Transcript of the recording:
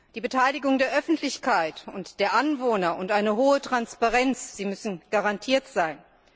Die Beteiligung der Öffentlichkeit und der Anwohner und eine hohe Transparenz müssen garantiert sein.